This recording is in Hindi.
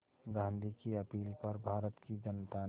गांधी की अपील पर भारत की जनता ने